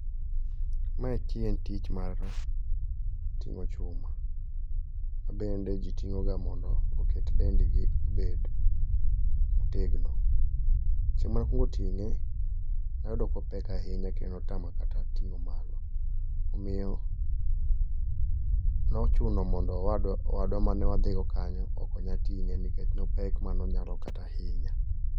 Ma enti en tich mar ting'o chuma. Mabende ji ting'oga mondo oket dendgi obed motegno. Chieng' manakwongo ting'e, nayudo kopek ahinya kendo notama kata ting'o malo, omiyo nochuno mondo owadwa manewadhi go kanyo okonya ting'e nikech nopek manonyalo kata hinya.